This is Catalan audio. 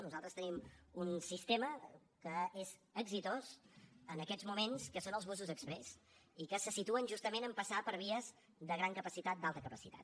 nosaltres tenim un sistema que és exitós en aquests moments que són els busos exprés i que se situen justament a passar per vies de gran capacitat d’alta capacitat